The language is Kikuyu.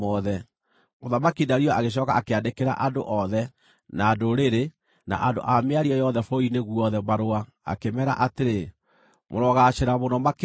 Mũthamaki Dario agĩcooka akĩandĩkĩra andũ othe, na ndũrĩrĩ, na andũ a mĩario yothe bũrũri-inĩ guothe marũa, akĩmeera atĩrĩ: “Mũrogaacĩra mũno makĩria!